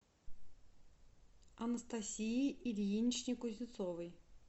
анастасии ильиничне кузнецовой